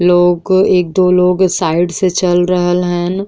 लोग को एक दो लोग साइड से चल रहल हन।